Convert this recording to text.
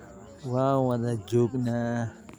Waa wada joognaa.